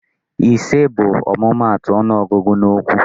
Ise bụ ọmụmaatụ ọnụọgụgụ n'okwu.